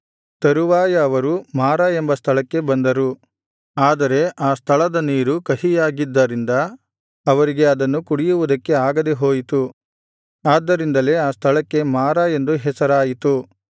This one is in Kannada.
ತರುವಾಯ ಅವರು ಮಾರಾ ಎಂಬ ಸ್ಥಳಕ್ಕೆ ಬಂದರು ಆದರೆ ಆ ಸ್ಥಳದ ನೀರು ಕಹಿಯಾಗಿದ್ದರಿಂದ ಅವರಿಗೆ ಅದನ್ನು ಕುಡಿಯುವುದಕ್ಕೆ ಆಗದೆ ಹೋಯಿತು ಆದ್ದರಿಂದಲೇ ಆ ಸ್ಥಳಕ್ಕೆ ಮಾರಾ ಎಂದು ಹೆಸರಾಯಿತು